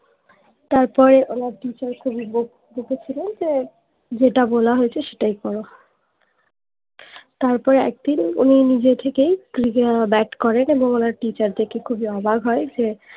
তারপরে ওনার teacher খুবই বকেছিলেন যে যেটা বলা হয়েছে সেটাই করো তারপর একদিন উনি নিজে থেকেই bat করেন এবং ওনার teacher দেখে খুবই অবাক হয়ে যে